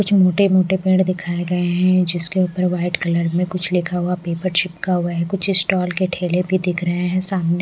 कुछ छोटे मोटे पेड़ दिखाएं गए हैं जिसके ऊपर व्हाइट कलर में कुछ लिखा हुआ पेपर चिपका हुआ है कुछ स्टॉल के ठेले भी दिख रहे हैं सामने--